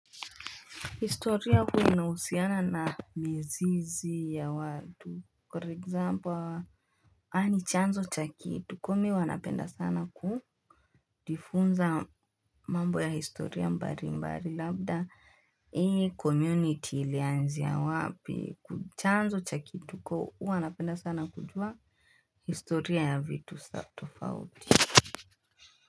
Historia huwa inahusiana na mizizi ya watu. For example, yani chanzo cha kumi wanapenda sana kujifunza mambo ya historia mbalimbali. Labda, hii community ilianzia wapi. Chanzo cha kitu, huwa napenda sana kujua historia ya vitu sa tofauti.